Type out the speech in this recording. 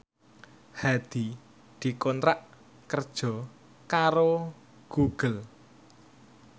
Hadi dikontrak kerja karo Google